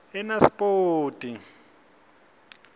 enasipoti